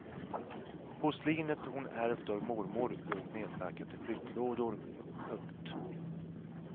Porslinet hon ärvt av mormor låg nedpackat i flyttlådor. punkt